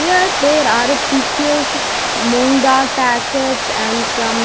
Here there are a pickles moongdal packets and some --